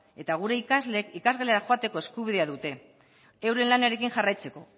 eta gure ikasleek ikasgelara joateko eskubidea dute euren lanarekin jarraitzeko